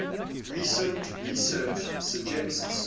recent research suggests